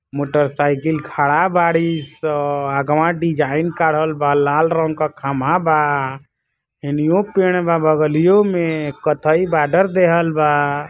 Motorcycle खड़ा बाड़ी सब अगवा डिज़ाइन काड़ल बा। लाल रंग के खम्बा बा | यनियो पेड़ बा बगलियो में | कत्थई बॉर्डर देहल बा|